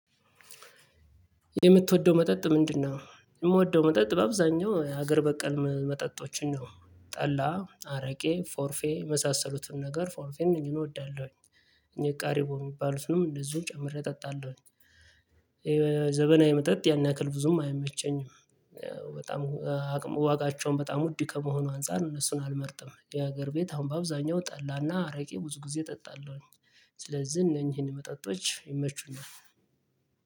የምትወደው መጠጥ ምንድ ነው? የምወደው መጠጥ በአብዛኛው የሀገር በቀል መጠጦችን ነው። ጠላ፥ አረቄ፥ ፎርፌ የመሳሰሉትን ነገር ፎርፌ እወዳለሁኝ። እኔ ቃሪቦ የሚባሉትንም እንደዚሁ ጨምሬ እጠጣለሁኝ። ዘመናዊ መጠጥ ያን ያክል ብዙም አይመቸኝም። አቅም ዋጋቸውም በጣም ውድ ከመሆኑ አንፃር እነሱን አልመርጥም። የሀገር ቤት አሁን በአብዛኛው ጠላና አረቄ ብዙ ጊዜ እጠጣለሁኝ። ስለዚህ እነኚህን መጠጦች ይመቹናል።